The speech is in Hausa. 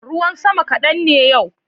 Ruwan sama kadan ne yau.